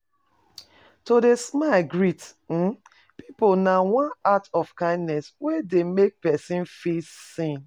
To de smile greet um pipo na one act of kindness wey de make persin feel seen